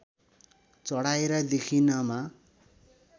चढाएर देखिनमा